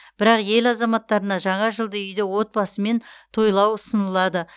бірақ ел азаматтарына жаңа жылды үйде отбасымен тойлау ұсынылады